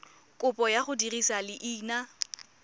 kopo ya go dirisa leina